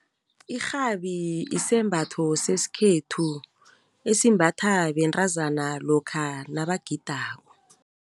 Irhabi isembatho sesikhethu esimbathwa bentazana lokha nabagidako.